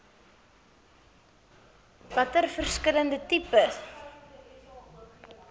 watter verskillende tipes